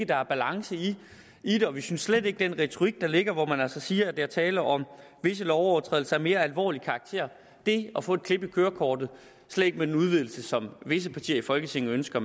der er balance i det og vi synes slet ikke om den retorik der ligger hvor man altså siger at der er tale om visse lovovertrædelser af mere alvorlig karakter det at få et klip i kørekortet slet ikke med den udvidelse som visse partier i folketinget ønsker